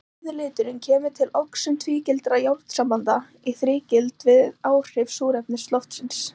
Rauði liturinn kemur til við oxun tvígildra járnsambanda í þrígild fyrir áhrif súrefnis loftsins.